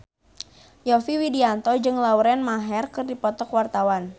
Yovie Widianto jeung Lauren Maher keur dipoto ku wartawan